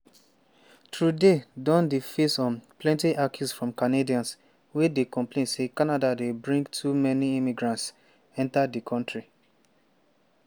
trudeau don dey face um plenty accuse from canadians wey dey complain say canada dey bring too many immigrants enta di kontri.